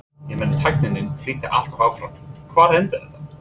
Ég meina tækninni flýtur alltaf áfram, hvar endar þetta?